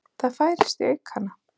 Það færist í aukana.